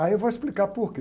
Aí eu vou explicar por quê.